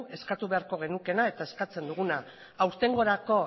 eskatu beharko genukeena eta eskatzen duguna aurtengorako